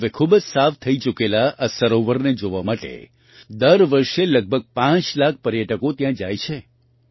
હવે ખૂબ જ સાફ થઈ ચૂકેલા આ સરોવરને જોવા માટે દર વર્ષે લગભગ પાંચ લાખ પર્યટકો ત્યાં જાય છે